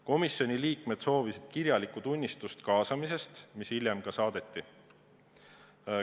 Komisjoni liikmed soovisid kirjalikku tunnistust kaasamisest, mis hiljem ka saadeti.